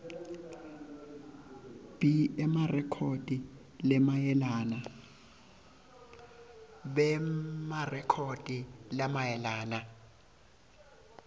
b emarekhodi lamayelana